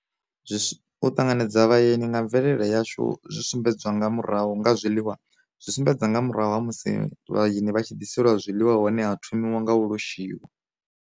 Zwi u ṱanganedza vhaeni nga mvelele yashu zwi sumbedzwa nga murahu nga zwiḽiwa, zwi sumbedza nga murahu ha musi vhaeni vha tshi ḓiselwa zwiḽiwa hone ha thomiwa nga u loshiwa